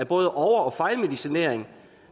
både over og fejlmedicinering